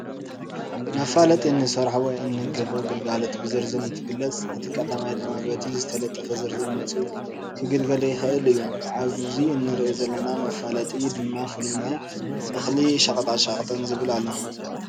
መፈላጢ እንሰርሖ ወይ እንግህቦ ግልጋሎት ብዝርዝር እትንገልፅ እቲ ተጠቃማይ ድማ በቲ ዝተለጠፈ ዝርዝር መፂኡ ክግልገል ይክእል እዩ ኣብዚ እንሪኦ ዘለና መፈላጢ ድማ ፍሉይ ናይ እክሊ ሸቀጣሸቀጥ ዝብል ኣሎ።